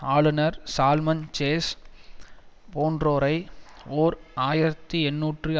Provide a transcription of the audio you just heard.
ஆளுனர் சால்மன் சேஸ் போன்றோரை ஓர் ஆயிரத்தி எண்ணூற்று